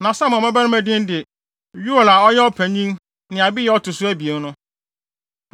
Na Samuel mmabarima din ne: Yoel a ɔyɛ ɔpanyin ne Abiya a ɔto so abien no.